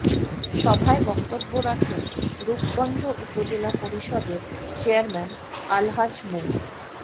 সভায় বক্তব্য রাখেন রূপগঞ্জ উপজেলা পরিষদের চেয়ারম্যান আলহাজ মো